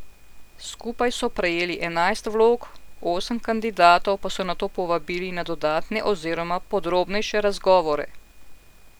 Skupaj so prejeli enajst vlog, osem kandidatov pa so nato povabili na dodatne oziroma podrobnejše razgovore.